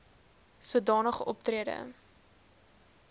soda nige optrede